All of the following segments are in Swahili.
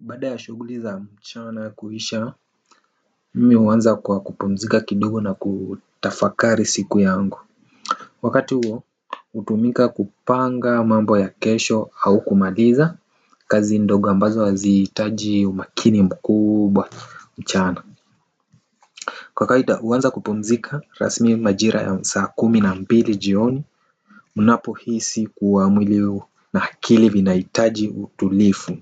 Baada ya shughuli za mchana kuisha mimi huanza kwa kupumzika kidigo na kutafakari siku yangu. Wakati huo hutumika kupanga mambo ya kesho au kumaliza kazi ndogo ambazo haziitaji umakini mkubwa mchana. Kwa kawaida huanza kupumzika rasmi majira ya saa kumi na mbili jioni. Mnapo hisi kuwa mwili huu na akili vinaitaji utulifu.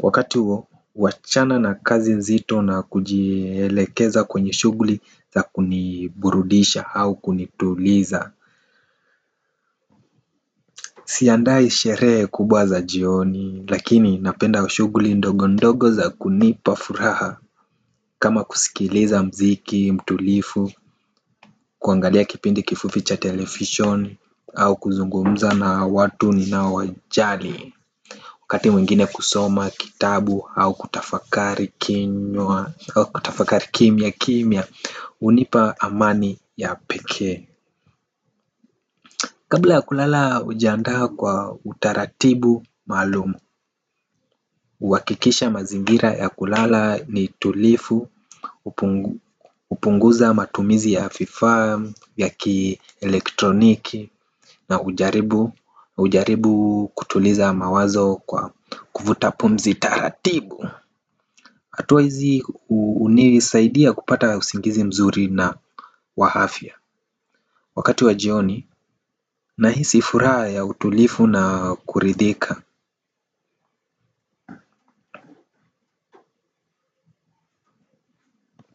Wakati huo wachana na kazi nzito na kujielekeza kwenye shughuli za kuniburudisha au kunituliza. Si andai sheree kubwa za jioni lakini napenda shughuli ndogo ndogo za kunipafuraha kama kusikiliza mziki, mtulifu, kuangalia kipindi kifupi cha televishoni au kuzungumza na watu ninao wajali. Wakati mwingine kusoma kitabu au kutafakari kimia kimia hunipa amani ya pekee. Kabla ya kulala hujianda kwa utaratibu maalumu huakikisha mazingira ya kulala ni tulifu upunguza matumizi ya vifa ya kielektroniki. Na hujaribu kutuliza mawazo kwa kuvuta pumzi taratibu hatua hizi hunisaidia kupata usingizi mzuri na wa afya. Wakati wa jioni na hisi furaha ya utulifu na kuridhika.